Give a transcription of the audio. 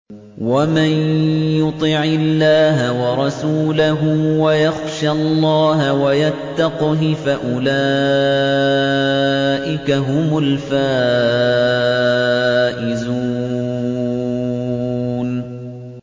وَمَن يُطِعِ اللَّهَ وَرَسُولَهُ وَيَخْشَ اللَّهَ وَيَتَّقْهِ فَأُولَٰئِكَ هُمُ الْفَائِزُونَ